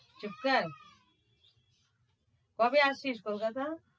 চুপকর। কবে আসছিস কোলকাতা?